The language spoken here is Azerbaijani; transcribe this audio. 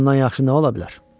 Bundan yaxşı nə ola bilər?